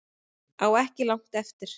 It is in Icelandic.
Á ekki langt eftir